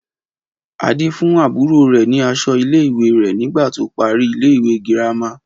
Adé fún àbúrò rẹ̀ ní aṣọ ilé ìwé rẹ̀ nígbà tó parí ilé ìwé girama